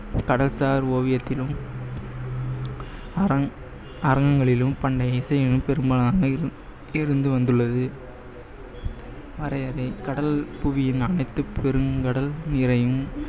கடல் சார் ஓவியத்திலும் அரங்~ அரங்கங்களிலும் பெரும்பாலானவை இருந்து வந்துள்ளது கடல் புவியின் அனைத்து பெருங்கடல் நீரையும்